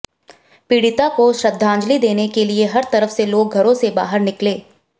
पीडि़ता को श्रद्धांजलि देने के लिए हर तरफ से लोग घरों से बाहर निकले